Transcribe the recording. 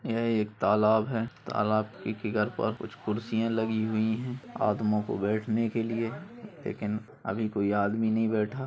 यह एक तालाब है तलब की फिगर पर कुछ कुरसिया लगी हुई है आदमों को बैठने के लिए लेकिन अभी कोई आदमी नहीं बैठा।